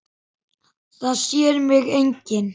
Það sér mig enginn.